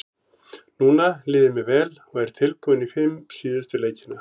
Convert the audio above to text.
Núna líður mér vel og er tilbúinn í fimm síðustu leikina.